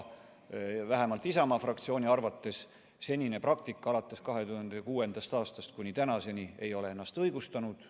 Vähemalt Isamaa fraktsiooni arvates senine praktika alates 2006. aastast kuni tänaseni ei ole ennast õigustanud.